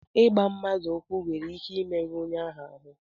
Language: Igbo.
Ịgba mmadụ ụkwụ nwere ike imerụ onye ahụ ahụ